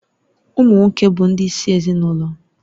Ụmụ nwoke bụ ndị isi ezinụlọ